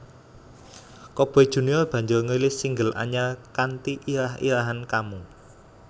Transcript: Coboy Junior banjur ngrilis single anyar kanthi irah irahan Kamu